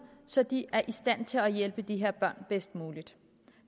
så de er i stand til at hjælpe de her børn bedst muligt